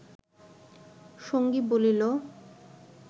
সঙ্গী বলিল